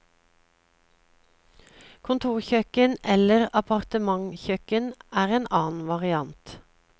Kontorkjøkken eller appartementkjøkken er en annen variant.